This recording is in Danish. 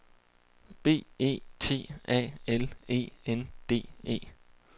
B E T A L E N D E